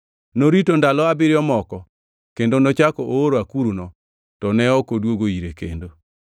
Norito ndalo abiriyo moko kendo nochako ooro akuruno, to ne ok odwogo ire kendo.